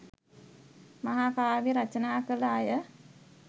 මහා කාව්‍ය රචනා කළ අය